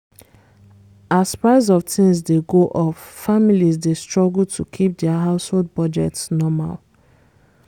as price of things dey go up families dey struggle to keep dia household budgets normal